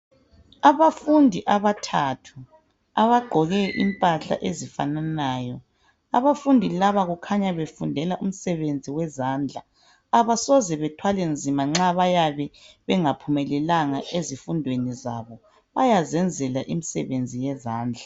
Abafundi abathathu abagqoke impahla ezifananayo . Abafundi laba kukhanya befundela umsebenzi wezandla .Abasoze bethwale nzima nxa bayabe bengaphumelelanga ezifundweni zabo. Bayazenzela imisebenzi yezandla.